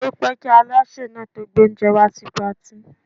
Ó pẹ́ kí Alásè náà tó gbé oúnjẹ wá sí Patí.